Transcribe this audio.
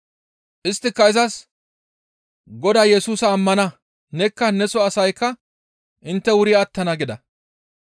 Isttika izas, «Godaa Yesusa ammana; nekka neso asaykka intte wuri attana» gida.